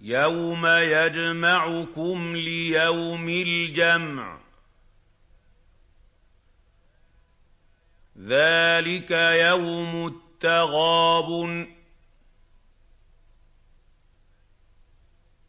يَوْمَ يَجْمَعُكُمْ لِيَوْمِ الْجَمْعِ ۖ ذَٰلِكَ يَوْمُ التَّغَابُنِ ۗ